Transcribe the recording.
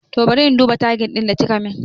Toh bari in duba tagin ɗin da kikamin